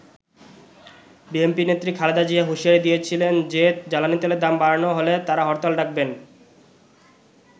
BNP নেত্রী খালেদা জিয়া হুঁশিয়ারি দিয়েছিলেন যে জ্বালানি তেলের দাম বাড়ানো হলে তারা হরতাল ডাকবেন।